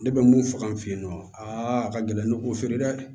Ne bɛ mun faga an fɛ yen nɔ aa a ka gɛlɛn ne k'o feere dɛ